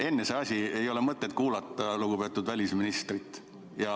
Enne ei ole mõtet kuulata lugupeetud välisministrit.